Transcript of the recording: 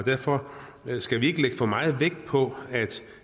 derfor skal vi ikke lægge for meget vægt på